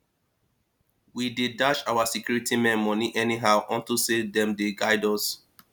we dey dash our security men money anyhow unto say dem dey guard us